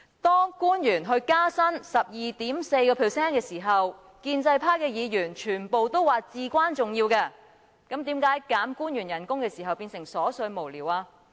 當官員獲建議加薪 12.4% 的時候，建制派議員全部都說這是至關重要，但為何我們建議削減官員薪酬便變成瑣碎無聊呢？